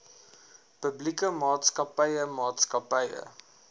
publieke maatskappye maatskappye